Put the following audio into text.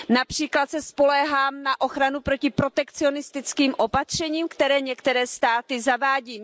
Například se spoléhám na ochranu proti protekcionistickým opatřením, které některé státy zavádějí.